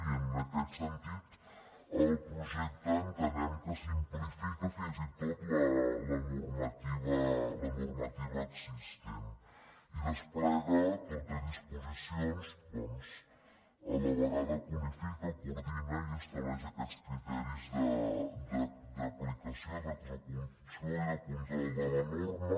i en aquest sentit el projecte entenem que simplifica fins i tot la normativa existent i desplega tot de disposicions doncs a la vegada que unifica coordina i estableix aquests criteris d’aplicació d’execució i de control de la norma